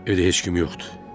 Evdə heç kim yoxdur.